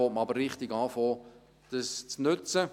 Dann fängt man aber richtig an, es zu nutzen.